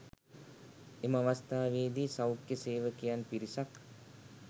එම අවස්ථාවේදී සෞඛ්‍ය සේවකයන් පිරිසක්